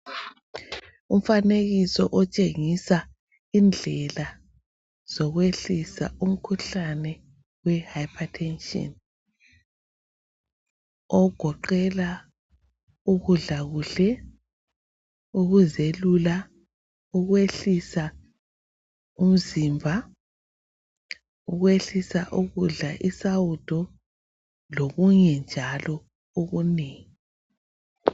Umfanekiso otshengisa indlela zokwehlisa umkhuhlane wehyper tension ogoqela ukudla kuhle ukuzelula ukwehlisa umzimba ukwehlisa ukudla isawudo lokunye njalo okunengi.